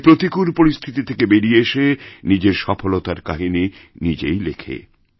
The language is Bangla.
সে প্রতিকূল পরিস্থিতি থেকে বেরিয়ে এসেনিজের সফলতার কাহিনী নিজেই লেখে